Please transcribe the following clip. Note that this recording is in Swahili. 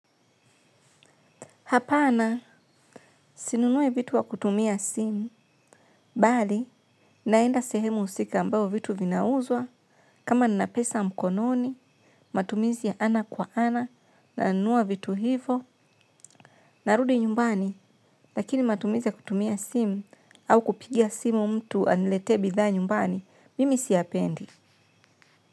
Hapana sinunui vitu kwa kutumia simu, bali naenda sehemu husika ambao vitu vinauzwa, kama ninapesa mkononi, matumizi ya ana kwa ana, nanunua vitu hivo, narudi nyumbani, lakini matumizi ya kutumia simu au kupigia simu mtu aniletee bidhaa nyumbani, mimi siyapendi.